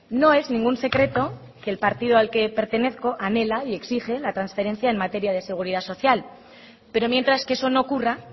no es ningún secreto que el partido al que pertenezco anhela y exige la transferencia en materia de seguridad social pero mientras que eso no ocurra